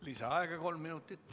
Lisaaega kolm minutit.